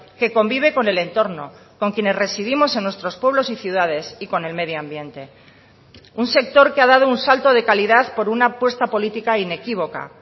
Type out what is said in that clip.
que convive con el entorno con quienes residimos en nuestros pueblos y ciudades y con el medio ambiente un sector que ha dado un salto de calidad por una apuesta política inequívoca